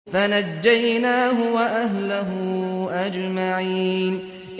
فَنَجَّيْنَاهُ وَأَهْلَهُ أَجْمَعِينَ